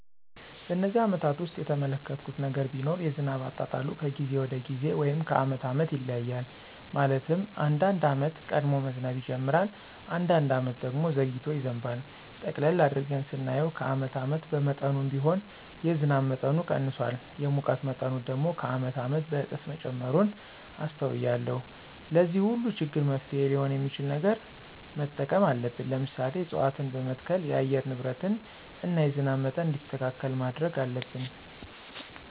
በነዚህ አመታት ውስጥ የተመለከትሁት ነገር ቢኖር የዝናብ አጣጣሉ ከጊዜ ወደ ጊዜ ወይም ከአመት አመት ይለያያል። ማለትም አንዳንድ አመት ቀድሞ መዝነብ ይጅምራል። አንዳንድ አመት ደግሞ ዘግይቶ ይዘንባል። ጠቅለል አድርገን ስናየው ከአመት አመት በመጠኑም ቢሆን የዝናብ መጠኑ ቀንሷል። የሙቀት መጠኑ ደግሞ ከአመት አመት በእጥፍ መጨመሩን አስተውያለሁ። ለዚህ ሁሉ ችግር መፍትሔ ሊሆን የሚችል ነገር መጠቀም አለብን። ለምሳሌ፦ እፅዋትን በመትከል የአየር ንብረትን እና የዝናብ መጠን እንዲስተካከል ማድረግ አለብን።